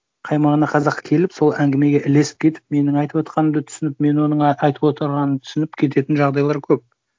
қаймана қазақ келіп сол әңгімеге ілесіп кетіп менің айтып отырғанымды түсініп мен оның айтып отырғанын түсініп кететін жағдайлар көп